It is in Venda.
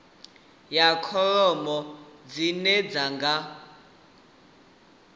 ya kholomo dzine dzi nga